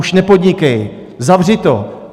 Už nepodnikej, zavři to.